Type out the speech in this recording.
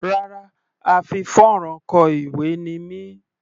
Rárá, a fi fónrán kọ ìwé ni mí.